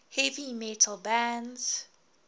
heavy metal bands